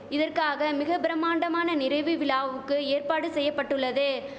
இதற்காக மிக பிரமாண்டமான நிறைவு விழாவுக்கு ஏற்பாடு செய்யபட்டுள்ளது